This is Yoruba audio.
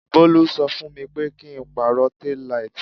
Bolu ṣọ fún mi pé kí n pàrọ̀ tail light.